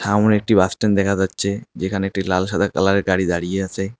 সামনে একটি bus stand দেখা যাচ্ছে যেখানে একটি লাল সাদা কালারের গাড়ি দাঁড়িয়ে আছে।